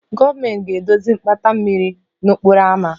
Gọọmentị ga-edozi mgbata mmiri n'okporo ámá